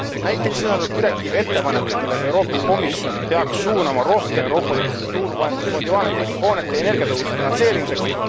Näiteks sisaldab direktiiv ettepanekut, millega Euroopa Komisjon peaks suunama rohkem Euroopa Liidu struktuurifondi vahendeid hoonete energiatõhususe finantseerimiseks.